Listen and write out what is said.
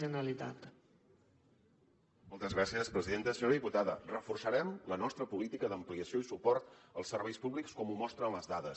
senyora diputada reforçarem la nostra política d’ampliació i suport als serveis públics com ho mostren les dades